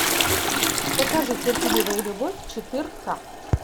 покажи терпеливая любовь четыре к